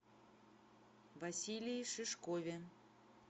василии шишкове